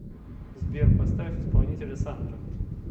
сбер поставь исполнителя сандра